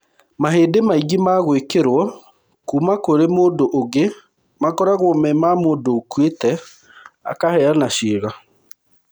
Mahĩndĩ maingĩ ma gwĩkĩro kuma kũrĩ mũndũ ũngĩ makoragwo me ma mũndũ ũkuĩte akaheana ciĩga.